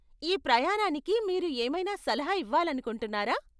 ఈ ప్రయాణానికి మీరు ఏమైనా సలహా ఇవ్వాలనుకుంటున్నారా?